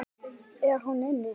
Er hún inni?